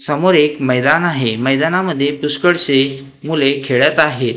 समोर एक मैदान आहे. मैदानामध्ये पुष्कळसे मुले खेळत आहेत.